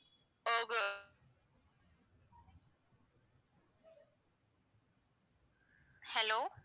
hello